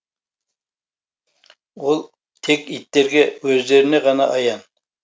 ол тек иттерге өздеріне ғана аян